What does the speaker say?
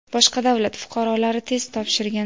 boshqa davlat fuqarolari test topshirgan.